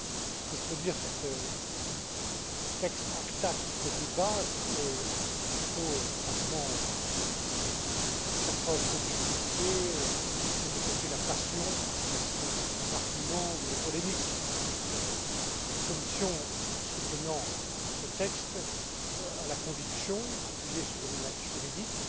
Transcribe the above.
Ce que je peux dire sur ce texte ACTA qui fait débat, c'est qu'il faut franchement faire preuve d'objectivité et laisser de côté la passion, les arguments ou les polémiques. La Commission, en soutenant ce texte, a la conviction, appuyée sur une analyse juridique,